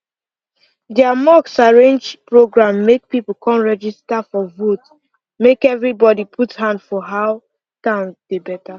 their mosque arrange program make people come register for vote make everybody put hand for how town dey better